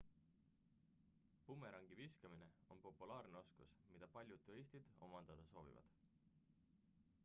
bumerangi viskamine on populaarne oskus mida paljud turistid omandada soovivad